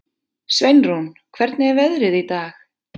Sveinrún, hvernig er veðrið í dag?